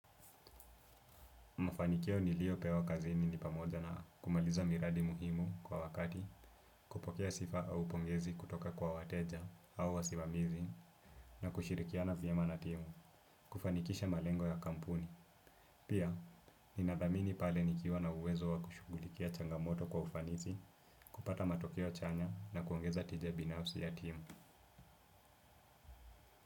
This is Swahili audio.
Mafanikio nilio pewa kazini ni pamoja na kumaliza miradi muhimu kwa wakati, kupokea sifa au pongezi kutoka kwa wateja au wasimamizi na kushirikiana vyema na timu, kufanikisha malengo ya kampuni. Pia, ninadhamini pale nikiwa na uwezo wa kushughulikia changamoto kwa ufanisi, kupata matokeo chanya na kuongeza tija binafsi ya timu.